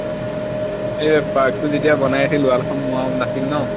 এৰ park টো যেতিয়া বনাই আছিল wall খন মৰা নাছিল ন সেই তেতিয়াৰ ফটোখিনি